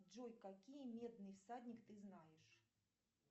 джой какие медный всадник ты знаешь